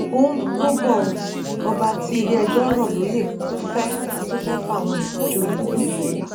ó ń rúgbó bò ó ọba tí iléẹjọ rọ lóyè tún fẹẹ tún fẹẹ fáwọn èèyàn joyè nílùú ọla